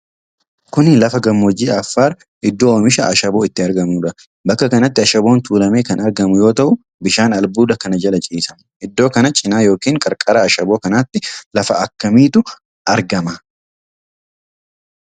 Kuni lafa gammoojjii Affaar iddoo oomishi Ashaboo itti argamuudha. Bakka kanatti Ashaboon tuulamee kan argamu yoo ta'u, bishaan albuuda kana jala ciisa. Iddoo kana cinaa yookiin qarqara ashaboo kanaatti lafa akkamiitu argama?